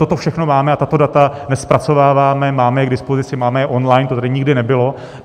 Toto všechno máme a tato data nezpracováváme, máme je k dispozici, máme je online, to tady nikdy nebylo.